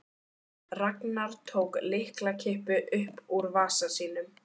Ragnar tók lyklakippu upp úr vasa sínum.